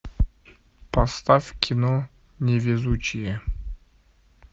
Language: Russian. поставь кино невезучие